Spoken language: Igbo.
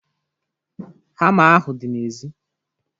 Hama ahụ dị n'èzí